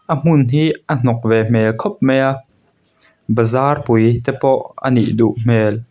a hmun hi a hnawk ve hmel khawp mai a bazar pui te pawh a nih duh hmel--